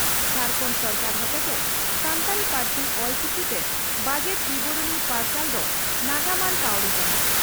ᱡᱷᱟᱲᱠᱷᱚᱱᱰ ᱥᱚᱨᱠᱟᱨ ᱦᱚᱛᱮᱛᱮ ᱥᱟᱱᱛᱟᱲᱤ ᱯᱟᱹᱨᱥᱤ ᱥᱟᱱᱛᱟᱲᱤ ᱯᱟᱹᱨᱥᱤ (ᱚᱞᱪᱤᱠᱤ) ᱛᱮ ᱵᱟᱡᱮᱴ ᱵᱤᱵᱚᱨᱚᱱᱤ ᱯᱟᱨᱥᱟᱞ ᱫᱳ ᱱᱟᱜᱟᱢᱟᱱ ᱯᱟᱹᱣᱲᱤ ᱠᱟᱱᱟ ᱾